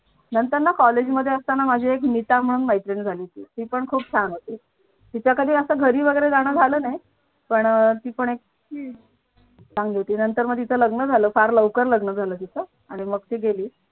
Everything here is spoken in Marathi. नंतर न college मध्ये असताना माझी एक नीता म्हणून मैत्रीण झाली ती पण खूप छान होती तिच्या कधी असं घरी जाणं वगैरे झालं नाही पण अह ती पण चांगली होती पण नंतर तिचं लग्न झालं फार लग्न लवकर झालं तिचं आणि मग ती गेली.